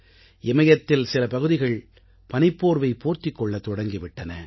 இமயத்தில் சில பகுதிகள் பனிப்போர்வை போர்த்திக் கொள்ளத் தொடங்கி விட்டன